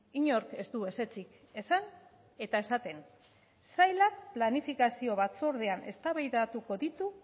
inork ez du ezetzik esan eta esaten sailak planifikazio batzordean eztabaidatuko ditu